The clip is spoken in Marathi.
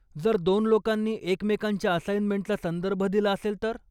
जर दोन लोकांनी एकमेकांच्या असाइनमेंटचा संदर्भ दिला असेल तर?